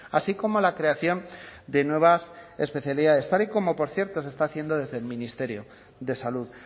así como la creación de nuevas especialidades tal y como por cierto se está haciendo desde el ministerio de salud